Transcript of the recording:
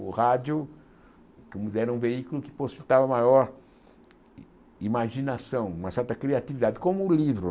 O rádio ainda era um veículo que possibilitava maior imaginação, uma certa criatividade, como o livro.